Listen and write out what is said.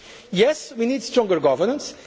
to do that. Yes, we need stronger